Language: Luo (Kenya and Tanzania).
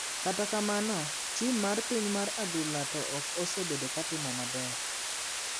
Kata kamano ,tim mar piny mar adhula to ok osebedo ka timo maber.